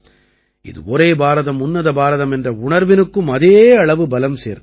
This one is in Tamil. இது ஒரே பாரதம் உன்னத பாரதம் என்ற உணர்வினுக்கும் அதே அளவு பலம் சேர்க்கிறது